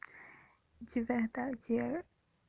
у тебя это где